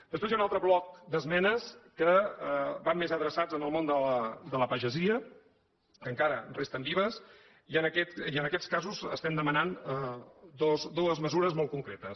després hi ha un altre bloc d’esmenes que van més adreçades al món de la pagesia que encara resten vives i en aquests casos estem demanant dues mesures molt concretes